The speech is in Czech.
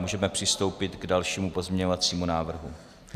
Můžeme přistoupit k dalšímu pozměňovacímu návrhu.